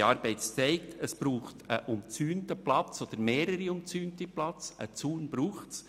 Unsere Arbeit hat gezeigt, dass es eines umzäunten Platzes oder mehrerer umzäunter Plätze bedarf.